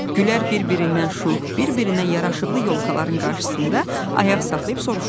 Gülər bir-birindən şux, bir-birindən yaraşıqlı yolkaların qarşısında ayaq saxlayıb soruşdu: